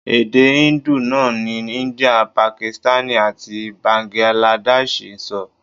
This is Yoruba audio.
Èdè Hindu náà ni India, Pakistani àti Báńgíládẹ́ṣiì ń sọ.